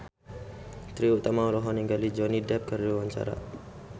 Trie Utami olohok ningali Johnny Depp keur diwawancara